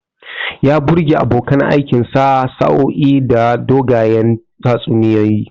Ya birge abokan aikinsa bayan sa'o'i da dogayen tatsuniyoyi.